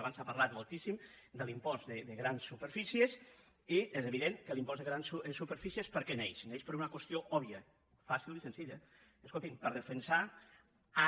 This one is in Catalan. abans s’ha parlat moltíssim de l’impost de grans superfícies i és evident que l’impost de grans superfícies per què neix neix per una qüestió òbvia fàcil i senzilla escoltin per defensar